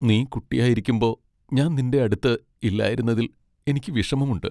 നീ കുട്ടിയായിരിക്കുമ്പോ ഞാൻ നിന്റെ അടുത്ത് ഇല്ലായിരുന്നതിൽ എനിക്ക് വിഷമമുണ്ട്.